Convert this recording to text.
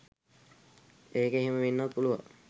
ඒක එහෙම වෙන්නත් පුළුවන්